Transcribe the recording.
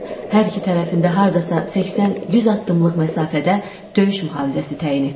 çadırın hər iki tərəfində hardasa 80-100 addımlıq məsafədə döyüş mühafizəsi təyin etdik.